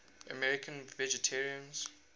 american vegetarians